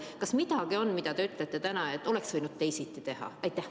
Kas on midagi, mida te ütlete täna, et oleks võinud teisiti teha?